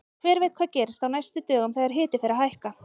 Hver veit hvað gerist á næstu dögum þegar hiti fer að hækka!